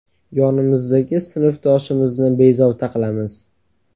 Yonimizdagi sinfdoshimizni bezovta qilamiz.